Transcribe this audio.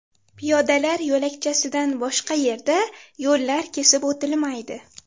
Piyodalar yo‘lakchasidan boshqa yerda yo‘llar kesib o‘tilmaydi.